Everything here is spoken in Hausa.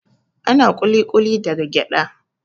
Ana ƙuli-ƙuli daga gyaɗa